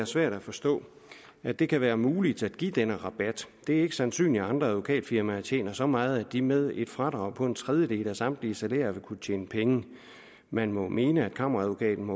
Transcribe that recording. svært at forstå at det kan være muligt at give denne rabat det er ikke sandsynligt at andre advokatfirmaer skulle tjene så meget at de med et fradrag på en tredjedel af samtlige salærer stadig ville kunne tjene penge man må mene at kammeradvokaten